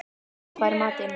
Raggi, hvað er í matinn?